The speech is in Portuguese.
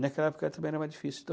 Naquela época também era mais difícil.